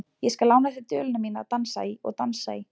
Ég skal lána þér duluna mína að dansa í og dansa í.